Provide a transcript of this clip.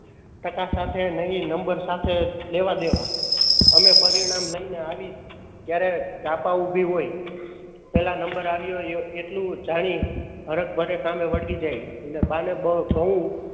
ટાકા સાથે નહિ નંબર સાથે લેવાદેવા. અમે પરિણામ લય ને આવી ત્યારે જાપ ઉભી હોય નંબર આવ્યો એટલું જાણી હરખ ભરે કામે વળગી જાય. અને બા ને ઘઉં,